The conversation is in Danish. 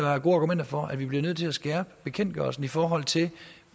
argumenter for at vi bliver nødt til at skærpe bekendtgørelsen i forhold til